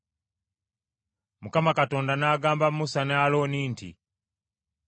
Mukama Katonda n’agamba Musa ne Alooni nti,